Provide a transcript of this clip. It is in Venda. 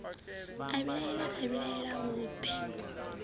a vhilaela a vhilaela vhuḓe